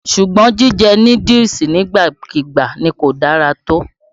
Sùgbọ́n, jíjẹ núdúùsù nígbàkùúgbà ni kò dára tó.